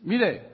mire